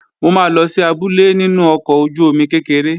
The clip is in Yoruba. Mo máa lọ sí abúlé nínú ọkọ̀ ojú-omi kékeré